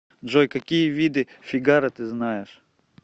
джой какие виды фигаро ты знаешь